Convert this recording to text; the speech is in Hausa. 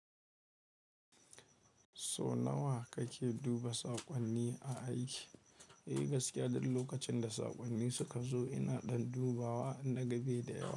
So nawa kake duba saƙonni a aiki? Eh, gaskiya duk lokacin da saƙonni suka zo ina ɗan dubawa in naga be da yawa.